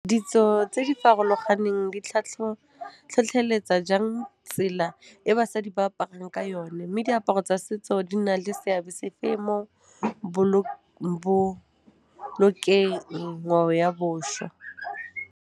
Ditso tse di farologaneng di tlhotlheletsa jang tsela e basadi ba aparang ka yone mme diaparo tsa setso di na le seabe sefe mo bo bolokeng ngwaoboswa.